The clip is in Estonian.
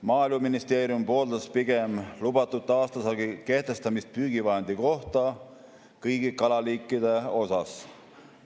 Maaeluministeerium pooldas pigem lubatud aastasaagi kehtestamist püügivahendi kohta kõigi kalaliikide puhul.